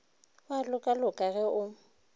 o a lokaloka ge o